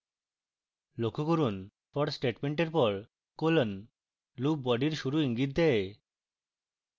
লক্ষ্য করুন for statement এর পর colon loop body শুরু ইঙ্গিত দেয়